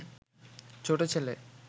ছোট ছেলে